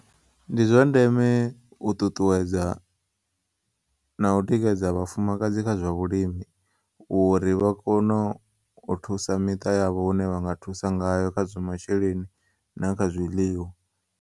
Ndi zwandeme u ṱuṱuwedza na u tikedza vha-fumakadzi kha zwa vhulimi uri vha kono u thusa miṱa yavho hune vhanga thusa ngayo kha zwa masheleni na kha zwiḽiwa.